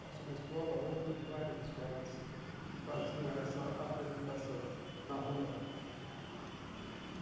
Passou uma escola, outra e várias escolas que faziam essa apresentação na rua.